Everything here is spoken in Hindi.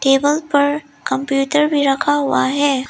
टेबल पर कंप्यूटर भी रखा हुआ है।